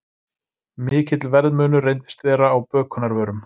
Mikill verðmunur reyndist vera á bökunarvörum